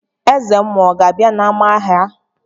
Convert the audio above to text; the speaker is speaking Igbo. eze mmuo ọ̀ gābia n'ama-ahia?